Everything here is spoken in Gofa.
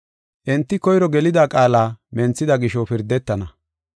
Enti koyro gelida qaala menthida gisho pirdetana.